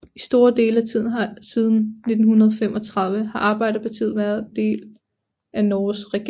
I store dele af tiden siden 1935 har Arbeiderpartiet været del af Norges regering